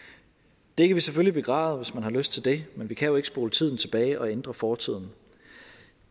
det kan man selvfølgelig begræde hvis man har lyst til det men vi kan jo ikke spole tiden tilbage og ændre fortiden